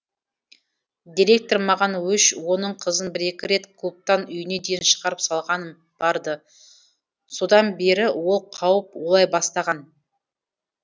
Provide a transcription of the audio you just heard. директор маған өш оның қызын бір екі рет клубтан үйіне дейін шығарып салғаным бар ды содан бері ол қауіп ойлай бастаған